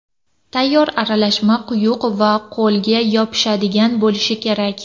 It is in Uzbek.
Tayyor aralashma quyuq va qo‘lga yopishadigan bo‘lishi kerak.